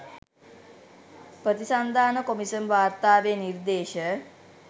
ප්‍රතිසන්ධාන කොමිසම් වාර්තාවේ නිර්දේශ